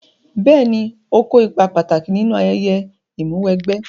Bẹ́ẹ̀ni ó kó ipa pàtàkì nínú ayẹyẹ Ìmúw'ẹgbẹ́